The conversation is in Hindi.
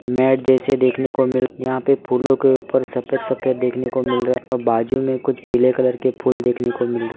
मैट जैसे देखने को मिल यहां पे फूलों के ऊपर सफेद सफेद देखने को मिल रहा और बाजू में कुछ पीले कलर के फूल देखने को मिल रहा --